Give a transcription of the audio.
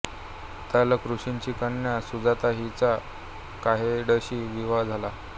उद्दालक ऋषींची कन्या सुजाता हिचा कहोडशी विवाह झाला